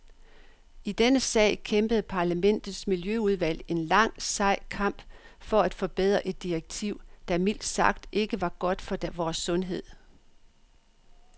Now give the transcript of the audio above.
I denne sag kæmpede parlamentets miljøudvalg en lang, sej kamp for at forbedre et direktiv, der mildt sagt ikke var godt for vores sundhed.